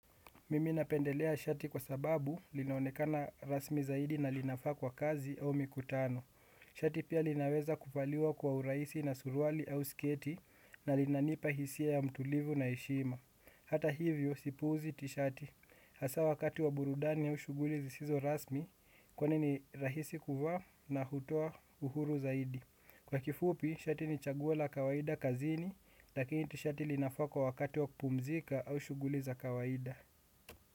Mimi napendelea shati kwa sababu linaonekana rasmi zaidi na linafaa kwa kazi au mikutano. Shati pia linaweza kuvaliwa kwa uraisi na suruali au sketi na linanipa hisia ya mtulivu na heshima. Hata hivyo sipuuzi tishati. Hasa wakati wa burudani au shuguli zisizo rasmi kwani ni rahisi kuvaa na kutoa uhuru zaidi. Kwa kifupi, shati ni chaguo la kawaida kazini, lakini tishati linafaa kwa wakati wa kupumzika au shuguli za kawaida.